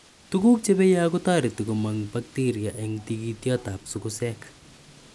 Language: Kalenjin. Tuguk che peya kotareti komang' bakteria eng tigityotap sugusek.